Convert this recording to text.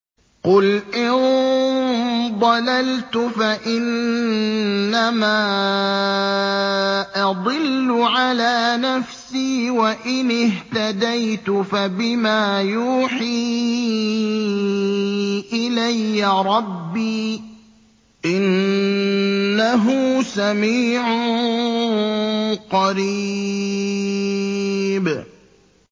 قُلْ إِن ضَلَلْتُ فَإِنَّمَا أَضِلُّ عَلَىٰ نَفْسِي ۖ وَإِنِ اهْتَدَيْتُ فَبِمَا يُوحِي إِلَيَّ رَبِّي ۚ إِنَّهُ سَمِيعٌ قَرِيبٌ